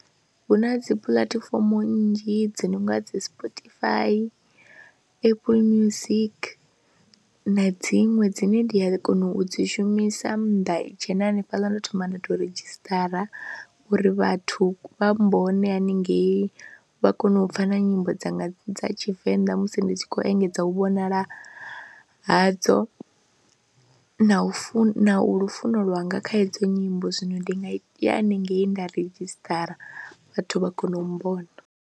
Hu na dzi puḽatifomo nnzhi dzi no nga dzi Sportify, Apple music na dziṅwe dzine ndi ya kona u dzi shumisa, nda dzhena hanefhaḽa ndo thoma nda tou redzhisitara uri vhathu vha mbone haningei vha kone u pfha na nyimbo dzanga dza Tshivenḓa musi ndi tshi khou engedza u vhonala hadzo na u funa lufuno lwanga kha hedzo nyimbo, zwino ndi nga ya haningei nda redzhisitara vhathu vha kona u mmbona.